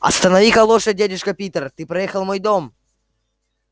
останови-ка лошадь дядюшка питер ты проехал мой дом